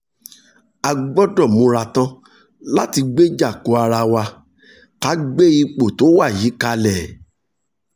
a gbọ́dọ̀ múra tán láti gbéjà ko ara wa ká gbé ipò tó wà yìí kalẹ̀